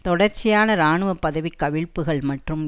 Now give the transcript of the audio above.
தொடர்ச்சியான இராணுவ பதவிக் கவிழ்ப்புகள் மற்றும்